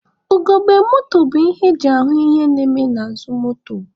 Ugogbe moto bụ ihe eji ahụ ihe na-eme n'azụ moto.